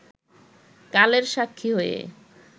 কালের সাক্ষী হয়ে